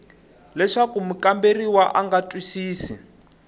leswaku mukamberiwa a nga twisisi